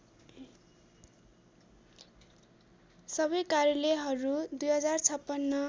सबै कार्यालयहरू २०५६